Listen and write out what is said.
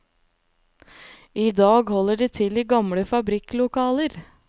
I dag holder de til i gamle fabrikklokaler.